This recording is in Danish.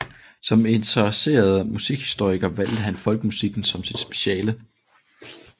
Som interesseret musikhistoriker valgte han folkemusikken som sit speciale